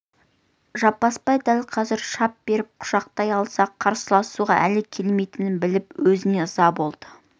жаппасбай дәл қазір шап беріп құшақтай алса қарсыласуға әлі келмейтінін біліп өзіне ыза болды